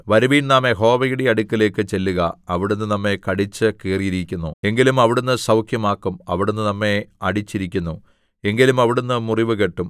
വരുവിൻ നാം യഹോവയുടെ അടുക്കലേക്ക് ചെല്ലുക അവിടുന്ന് നമ്മെ കടിച്ചു കീറിയിരിക്കുന്നു എങ്കിലും അവിടുന്ന് സൗഖ്യമാക്കും അവിടുന്ന് നമ്മെ അടിച്ചിരിക്കുന്നു എങ്കിലും അവിടുന്ന് മുറിവ് കെട്ടും